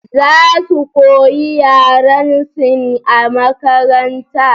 Za su koyi yaran Sin a makaranta